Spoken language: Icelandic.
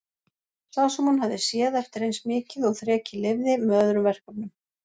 Sá sem hún hafði séð eftir eins mikið og þrekið leyfði, með öðrum verkefnum.